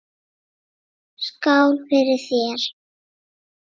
Skál fyrir þér!